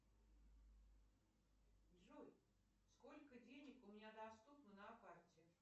джой сколько денег у меня доступно на карте